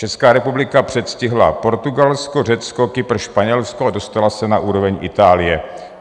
Česká republika předstihla Portugalsko, Řecko, Kypr, Španělsko a dostala se na úroveň Itálie.